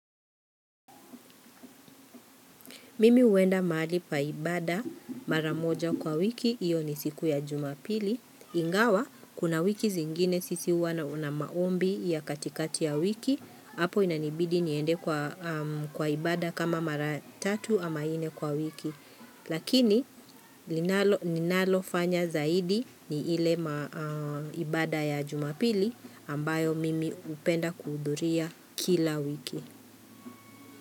Mimi huenda mahali paibada maramoja kwa wiki, hiyo ni siku ya jumapili. Ingawa, kuna wiki zingine sisi uwa na maombi ya katikati ya wiki, hapo inanibidi niende kwa ibada kama maratatu ama inne kwa wiki. Lakini, ninalo fanya zaidi ni ile ibada ya jumapili ambayo mimi hupenda kuhudhuria kila wiki.